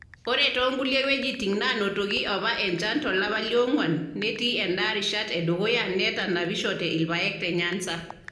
Ore too nkulie wuejitin naanotoki apa enchan tolapa le ong`uan netii endaa rishat e dukuya netanapishote irpaek te Nyanza.